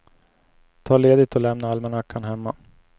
Ta ledigt och lämna almanackan hemma.